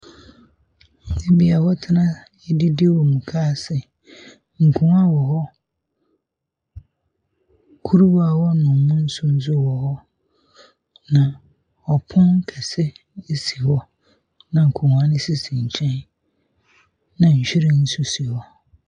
Beebi a wɔtena didi wɔ moka ase, nkonnwa wɔ hɔ, kuruwa a wɔnom mu nsu nso wɔ hɔ. Na ɔpon kɛse si hɔ na nkonnwa no sisi nkyɛn. Na nhyiren nso si hɔ.